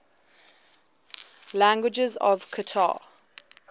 languages of qatar